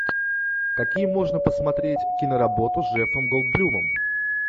какие можно посмотреть киноработы с джеффом голдблюмом